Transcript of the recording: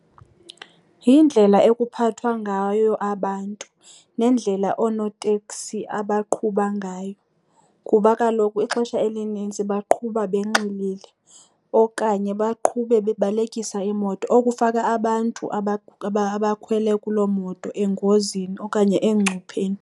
Yindlela okuphathwa ngayo abantu nendlela oonoteksi abaqhuba ngayo kuba kaloku ixesha elinintsi baqhuba benxilile okanye baqhube bebalekisa iimoto, okufaka abantu abakhwele kuloo moto engozini okanye engcupheni.